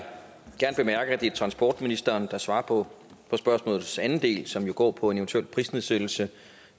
transportministeren der svarer på spørgsmålets anden del som jo går på en eventuel prisnedsættelse